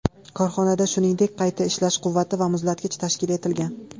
Korxonada, shuningdek, qayta ishlash quvvati va muzlatgich tashkil etilgan.